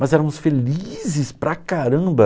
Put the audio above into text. Mas éramos felizes para caramba.